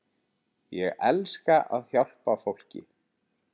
Ég elska að hjálpa fólki.